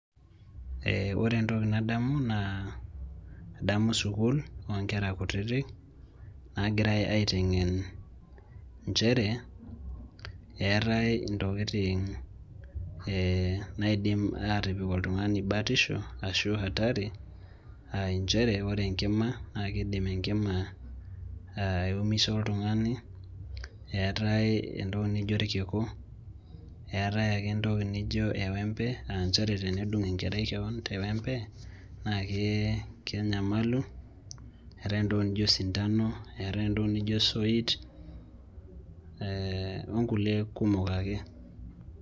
Ee ore entokin nadamu naa adamu sukuul oonkera kutitik naagirai aiteng'en nchere eetai ntokitin ee naidim aatipik oltung'ani batisho ashu hatari aa nchere ore enkima naa kiidim enkima aiumisa oltung'ani eetai entoki nijio irkiku eetai ake entoki nijio ewembe aa nchere tenedung' enkerai kewon tewembe naa kenyamalu eetai entoki nijio osindano eetai entoki nijio osoit ee onkulie kumok ake.